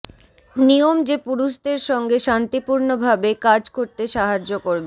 নিয়ম যে পুরুষদের সঙ্গে শান্তিপূর্ণভাবে কাজ করতে সাহায্য করবে